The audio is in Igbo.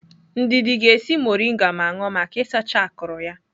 Ndidi ga-esi moringa ma ṅụọ maka isacha akụrụ ya.